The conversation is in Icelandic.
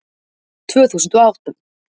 Tvö þúsund og átta